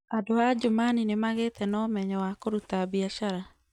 Andũ a Adjumani nĩ magĩte na ũmenyo wa kũruta biacara.